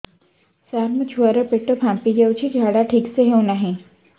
ସାର ମୋ ଛୁଆ ର ପେଟ ଫାମ୍ପି ଯାଉଛି ଝାଡା ଠିକ ସେ ହେଉନାହିଁ